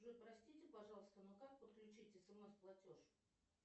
джой простите пожалуйста но как подключить смс платеж